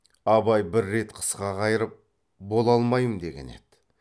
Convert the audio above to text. абай бір рет қысқа қайырып бола алмаймын деген еді